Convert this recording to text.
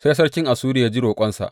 Sai sarkin Assuriya ya ji roƙonsa.